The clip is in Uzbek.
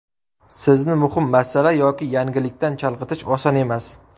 Sizni muhim masala yoki yangilikdan chalg‘itish oson emas.